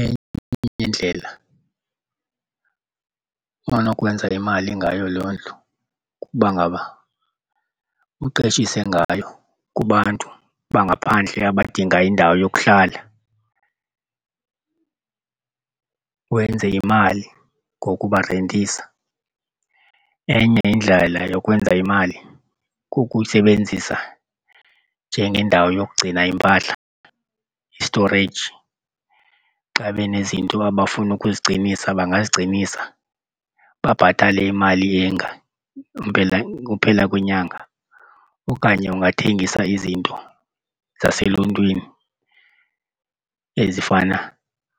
Enye yeendlela onokwenza imali ngayo loo ndlu kuba ngaba uqeshiwe ngayo kubantu bangaphandle abadinga indawo yokuhlala, wenze imali ngokubarentisa. Enye enye indlela yokwenza imali kukuyisebenzisa njengendawo yokugcina iimpahla, i-storage. Xa benezinto abafuna ukuzigcinisa bangazigcinisa babhatale imali enga impela uphela kwenyanga. Okanye ungathengisa izinto zaseluntwini ezifana